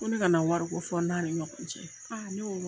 Ko ne kana wari ko fɔ n n'a ni ɲɔgɔn cɛ. Ne ko n ko